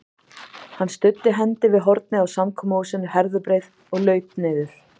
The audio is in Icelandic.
Hann studdi hendi við hornið á samkomuhúsinu Herðubreið og laut niður.